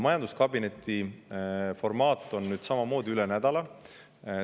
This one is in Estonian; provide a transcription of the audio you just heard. Majanduskabineti formaat on selline, et see toimub nüüd samamoodi üle nädala.